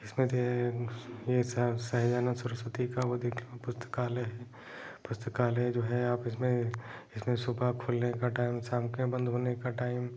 इसमें थे यह सह सहजानन्द सरस्वती का वो देख पुस्तकालय है पुस्तकालय जो है आप इसमें इसमे सुबह खुलने का टाइम का शाम के बंद होने का टाइम --